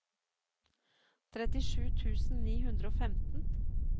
trettisju tusen ni hundre og femten